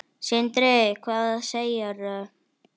Sindri: Hvað segirðu?